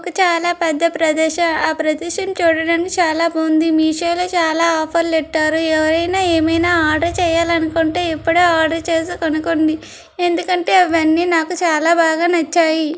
ఇది చాలా పెద్ద ప్రదేశ్. ఆ ప్రదేశం చూడడానికి చాలా బాగుంది. మీ షో లో చాలా ఆఫర్ లెట్టారు. ఎవరైనా ఏమైనా ఆర్డర్ చేయాలనుకుంటే ఇప్పుడే ఆర్డర్ చేసి కనుక్కోండి. ఎందుకంటే అవన్నీ నాకు చాలా బాగా నచ్చాయి.